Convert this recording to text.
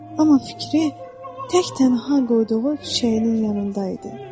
Amma fikri tək-tənha qoyduğu çiçəyinin yanında idi.